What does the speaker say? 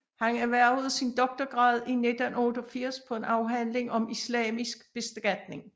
Han erhvervede sin doktorgrad i 1988 på en afhandling om islamisk beskatning